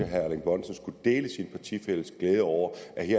herre erling bonnesen skulle dele sin partifælles glæde over